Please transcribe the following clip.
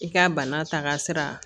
I ka bana ta ka sira